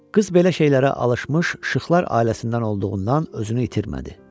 Qız belə şeylərə alışmış Şıxlar ailəsindən olduğundan özünü itirmədi.